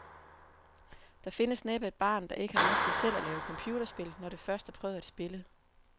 Der findes næppe et barn, der ikke har ønsket selv at lave computerspil, når det først har prøvet at spille.